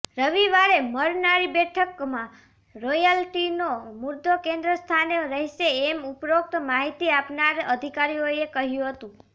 રવિવારે મળનારી બેઠકમાં રોયલ્ટીનો મુદ્દો કેન્દ્ર સ્થાને રહેશે એમ ઉપરોક્ત માહિતી આપનાર અધિકારીઓએ કહ્યું હતું